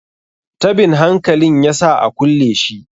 tabin hankalin ya sa a kulle shi